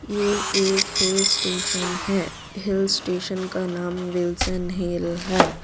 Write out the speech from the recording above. ये एक hill station है हिल स्टेशन का नाम विल्सन हिल है।